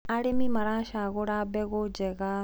arĩmi maracagũra mbegũ njega